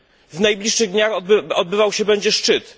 W najbliższych dniach odbywać się będzie szczyt.